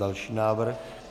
Další návrh.